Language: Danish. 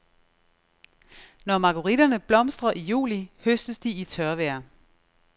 Når margueritterne blomstrer i juli høstes de i tørvejr.